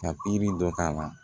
Ka pikiri dɔ k'a la